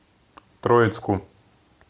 троицку